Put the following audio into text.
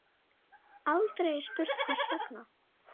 Aldrei er spurt hvers vegna.